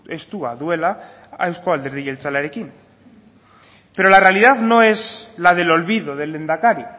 estua duela euzko alderdi jeltzalearekin pero la realidad no es la del olvido del lehendakari